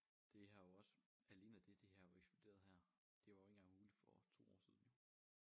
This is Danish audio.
Det har jo også alene det det har jo eksploderet her det var jo ikke engang muligt for 2 år siden jo